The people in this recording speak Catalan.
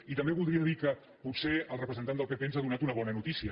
i també voldria dir que potser el representant del pp ens ha donat una bona notícia